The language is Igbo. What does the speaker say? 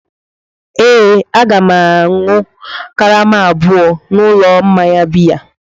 Ee, Aga m ga-aṅụ karama abụọ n'ụlọ mmanya biya.